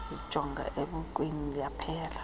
yazijonga esibukweni yaphela